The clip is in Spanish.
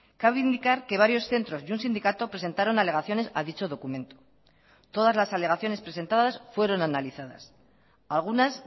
cabe indicar que varios centros y un sindicato presentaron alegaciones a dicho documento todas las alegaciones presentadas fueron analizadas algunas